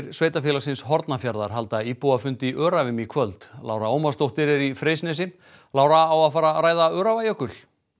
sveitarfélagsins Hornafjarðar halda íbúafund í Öræfum í kvöld Lára Ómarsdóttir er í Freysnesi Lára á að fara að ræða Öræfajökul